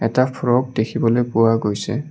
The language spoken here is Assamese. এটা ফ্ৰ'ক দেখিবলৈ পোৱা গৈছে।